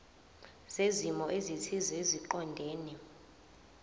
zezimo ezithile eziqondene